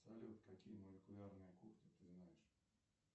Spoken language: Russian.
салют какие молекулярные кухни ты знаешь